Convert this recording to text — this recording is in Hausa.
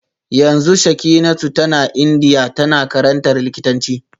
Yanzu Shekinatu tana Indiya tana karantar likitanci